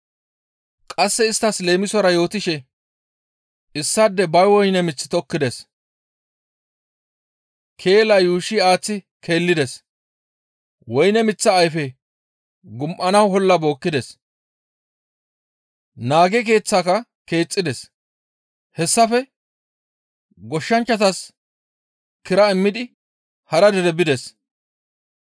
Qasse isttas leemisora yootishe, «Issaadey ba woyne mith tokkides. Keela yuushshi aaththi keelides; woyne miththa ayfe gum7ana olla bookkides. Naage keeththeka keexxides. Hessafe goshshanchchatas kira immidi hara dere bides.